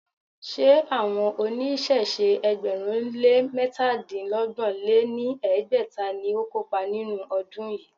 Ṣé àwọn oníṣẹ̀ṣe ẹgbẹ̀rún lé métadínọgbọ̀n lé ní ẹgbẹ́ta ni ó kópa nínú ọdún yìí?